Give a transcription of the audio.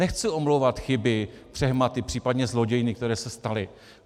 Nechci omlouvat chyby, přehmaty, případně zlodějny, které se staly.